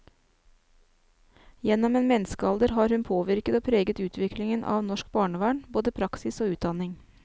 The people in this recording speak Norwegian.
Gjennom en menneskealder har hun påvirket og preget utviklingen av norsk barnevern, både praksis og utdanning.